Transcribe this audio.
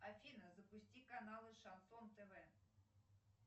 афина запусти каналы шансон тв